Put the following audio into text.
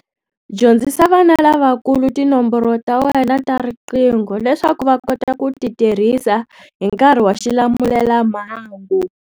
Dyondzisa vana lavakulu tinomboro ta wena ta riqingho leswaku va kota ku ti tirhisa hi nkarhi wa xilamulelamhangu.